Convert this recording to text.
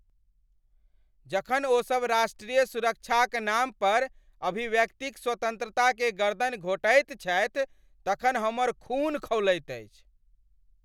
जखन ओसभ राष्ट्रीय सुरक्षाक नाम पर अभिव्यक्तिक स्वतन्त्रताके गरदनि घोंटैत छथि तखन हमर खून खौलैत अछि।